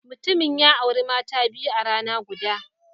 Mutumin ya auri mata biyu a rana guda.